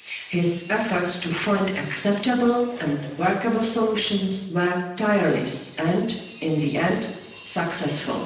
His efforts to find acceptable and workable solutions were tireless and, in the end, successful.